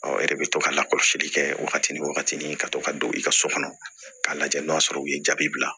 Ɔ e de bɛ to ka lakɔlɔsili kɛ wagati ni wagati ka to ka don i ka so kɔnɔ k'a lajɛ n'o y'a sɔrɔ u ye jaabi bila